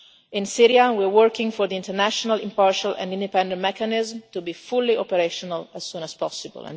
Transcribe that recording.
In Syria we are working for the international, impartial and independent mechanism to be fully operational as soon as possible.